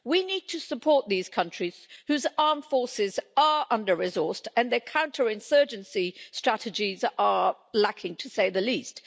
We need to support these countries, whose armed forces are under resourced and their counter insurgency strategies are lacking, to say the least.